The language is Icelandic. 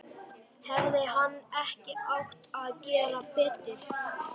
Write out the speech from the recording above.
Hefði hann ekki átt að gera betur?